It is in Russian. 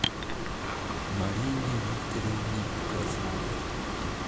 марине викторовне козловой